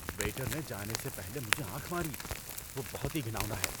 Waiter نے جانے سے پہلے مجھے آنکھ ماری۔ وہ بہت ہی گھناؤنا ہے۔